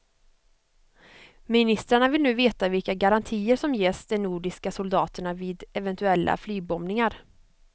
Ministrarna vill nu veta vilka garantier som ges de nordiska soldaterna vid eventuella flygbombningar.